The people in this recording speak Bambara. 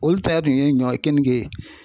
Olu ta dun ye ɲɔ keninke ye.